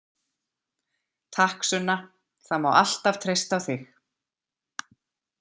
Takk Sunna, það má alltaf treysta á þig.